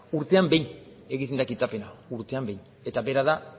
urtean behin egiten da kitapena urtean behin eta bera da